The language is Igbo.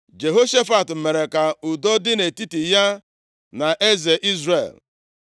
Jehoshafat mere ka udo dị nʼetiti ya na eze Izrel.